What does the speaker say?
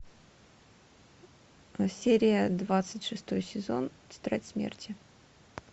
серия двадцать шестой сезон тетрадь смерти